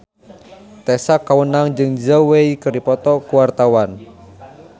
Tessa Kaunang jeung Zhao Wei keur dipoto ku wartawan